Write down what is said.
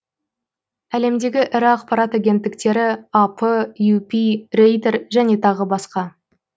әлемдегі ірі ақпарат агенттіктері ап юпи рейтер және тағы басқа